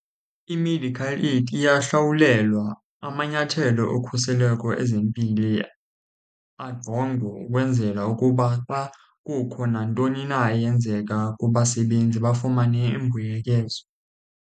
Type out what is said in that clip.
I-medical aid iyahlawulelwa amanyathelo okhuseleko ezempilo ajongwe ukwenzela ukuba uba kukho nantoni na eyenzeka kubasebenzi bafumane imbuyekezo.